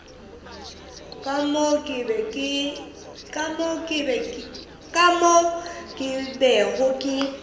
ka moo ke bego ke